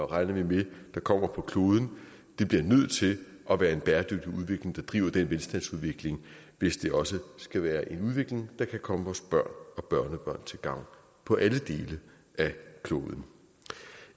regner vi med der kommer på kloden det bliver nødt til at være en bæredygtig udvikling der driver den velstandsudvikling hvis det også skal være en udvikling der kan komme vores børn og børnebørn til gavn på alle dele af kloden